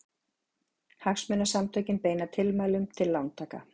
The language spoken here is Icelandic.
Hagsmunasamtökin beina tilmælum til lántaka